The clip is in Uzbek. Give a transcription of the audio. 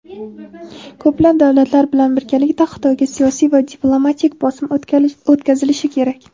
Ko‘plab davlatlar bilan birgalikda Xitoyga siyosiy va diplomatik bosim o‘tkazilishi kerak.